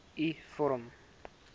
u vorm